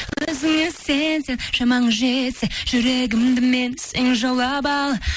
өзіңе сенсең шамаң жетсе жүрегімді менің сен жаулап ал